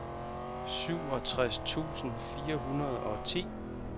syvogtres tusind fire hundrede og ti